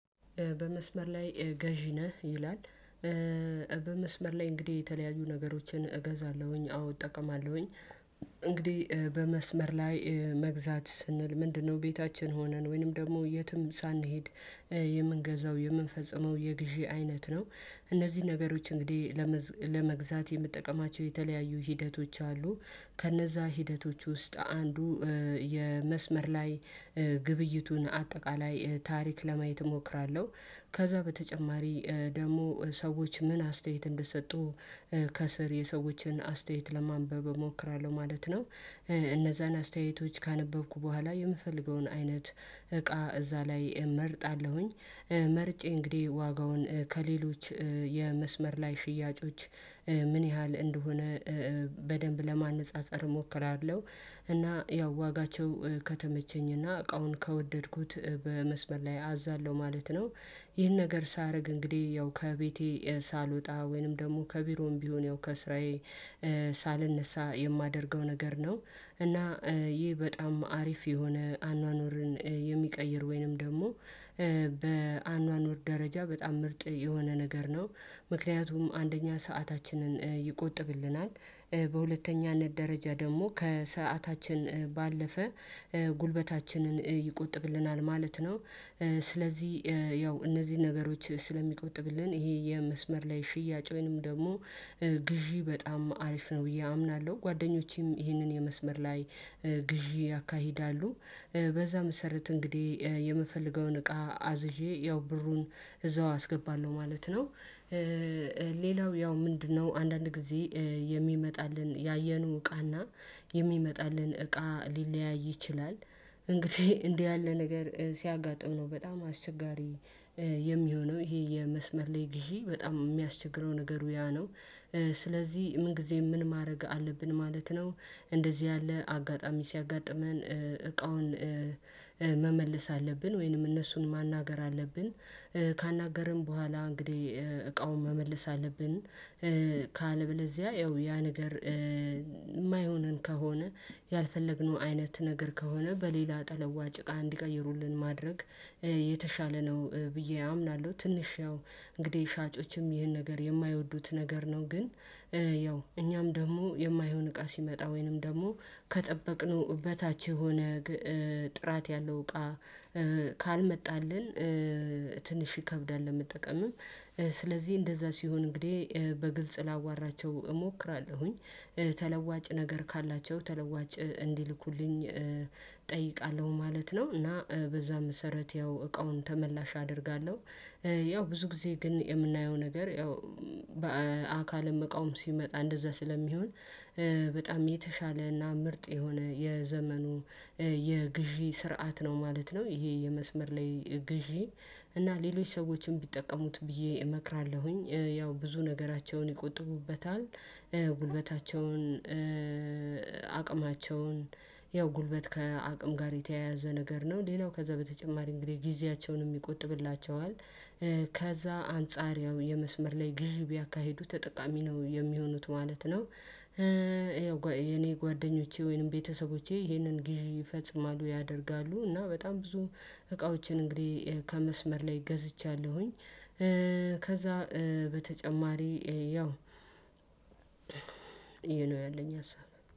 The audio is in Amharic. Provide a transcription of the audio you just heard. በመስመር ላይ ገዢ ነህ ይላል። በመስመር ላይ እንግዲህ የተለያዩ ነገሮችን እገዛለሁኝ አዎ እጠቀማለሁኝ እንግዲህ በመስመር ላይ መግዛት ስንል ምንድነው? ቤታችን ሆነን ወይንም ደግሞ የትም ሳንሄድ የምንገዛው የምንፈጽመው የግዢ አይነት ነው። እነዚህ ነገሮች እንግዲህ ለመግዛት የምትጠቀማቸው የተለያዩ ሂደቶች አሉ። ከነዛ ሂደቶች ውስጥ አንዱ የመስመር ላይ ግብይቱን አጠቃላይ ታሪክ ለማየት እሞክራለሁ። ከዛ በተጨማሪ ደግሞ ሰዎች ምን አስተያየት እንደሰጡ ከስር የሰዎችን አስተያየት ለማንበብ እሞክራለሁ ማለት ነው። እነዛን አስተያየቶች ካነበብኩ በኋላ የምፈልገውን አይነት እቃ እዛ ላይ እመርጣለሁኝ። መርጬ እንግዲህ ዋጋውን ከሌሎች የመስመር ላይ ሽያጮች ምን ያህል እንደሆነ በደንብ ለማነፃፀር እሞክራለሁ። እና ያው ዋጋቸው ከተመቸኝና እቃውን ከወደድኩት በመስመር ላይ አዛለሁ ማለት ነው። ይህን ነገር ሳደርግ እንግዲህ ያው ከቤቴ ሳልወጣ ወይንም ደግሞ ከቢሮም ቢሆን ያው ከስራዬ ሳልነሳ የማደርገው ነገር ነው። እና ይህ በጣም አሪፍ የሆነ አኗኗርን የሚቀይር ወይንም ደግሞ በአኗኗር ደረጃ በጣም ምርጥ የሆነ ነገር ነው። ምክንያቱም አንደኛ ሰአታችንን ይቆጥብልናል በሁለተኛነት ደረጃ ደግሞ ከሰዓታችን ባለፈ ጉልበታችንን ይቆጥብልናል ማለት ነው። ስለዚህ ያው እነዚህን ነገሮች ስለሚቆጥብልን ይሄ የመስመር ላይ ሽያጭ ወይንም ደግሞ ግዢ በጣም አሪፍ ነው ብዬ አምናለሁ። ጓደኞቼም ይህንን የመስመር ላይ ግዢ ያካሂዳሉ። በዛ መሰረት እንግዲህ የምፈልገውን እቃ አዝዤ ያው ብሩን እዛው አስገባለሁ ማለት ነው። ሌላው ያው ምንድነው? አንዳንድ ጊዜ የሚመጣልን ያየነው እቃና የሚመጣልን እቃ ሊለያይ ይችላል እንግዲህ እንዲህ ያለ ነገር ሲያጋጥም ነው በጣም አስቸጋሪ የሚሆነው ይሄ የመስመር ላይ ግሺ በጣም የሚያስቸግረው ነገሩ ያ ነው። ስለዚህ ምን ጊዜም ምን ማድረግ አለብን ማለት ነው? እንደዚህ ያለ አጋጣሚ ሲያጋጥመን እቃውን መመለስ አለብን ወይንም እነሱን ማናገር አለብን። ካናገርን በኋላ እንግዲህ እቃውን መመልስ አለብን። ካለበለዚያ ያ ያ ነገር የማይሆነን ከሆነ ያልፈለግነው አይነት ነገር ከሆነ በሌላ ተለዋጭ እቃ እንዲቀይሩልን ማድረግ የተሻለ ነው። ብዬ አምናለሁ ትንሽ ያው እንግዲህ ሻጮችም ይህን ነገር የማይወዱት ነገር ነው። ግን ያው እኛም ደግሞ የማይሆን እቃ ሲመጣ ወይንም ደግሞ ከጠበቅነው በታች የሆነ ጥራት ያለው እቃ ካልመጣልን ትንሽ ይከብዳል። ለመጠቀምም ስለዚህ እንደዛ ሲሆን እንግዲህ በግልጽ ላዋራቸው እሞክራለሁኝ ተለዋጭ ነገር ካላቸው ተለዋጭ እንዲልኩልኝ እጠይቃለሁ ማለት ነው። እና በዛ መሰረት ያው እቃውን ተመላሽ አደርጋለሁ። ያው ብዙ ጊዜ ግን የምናየው ነገር ያው በአካልም መቃወም ሲመጣ እንደዛ ስለሚሆን በጣም የተሻለና ምርጥ የሆነ የዘመኑ የግዢ ስርዓት ነው ማለት ነው። ይሄ የመስመር ላይ ግዢ እና ሌሎች ሰዎችን ቢጠቀሙት ብዬ እመክራለሁኝ። ያው ብዙ ነገራቸውን ይቆጥቡበታል ጉልበታቸውን አቅማቸውን ያው ጉልበት ከአቅም ጋር የተያያዘ ነገር ነው። ሌላው ከዛ በተጨማሪ እንግዲህ ጊዜያቸውንም ይቆጥብላቸዋል። ከዛ አንጻሪያው የመስመር ላይ ግዢ ቢያካሂዱ ተጠቃሚ ነው የሚሆኑት ማለት ነው። ጓደኞቼ ወይንም ቤተሰቦቼ ይህንን ግዢ ይፈጽማሉ ያደርጋሉ እና በጣም ብዙ እቃዎችን እንግዲህ ከመስመር ላይ ገዝቻለሁኝ። ከዛ በተጨማሪ ያው ይሄ ነው ያለኝ ሀሳብ።